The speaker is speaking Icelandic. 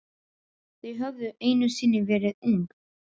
Þau höfðu einu sinni verið ung.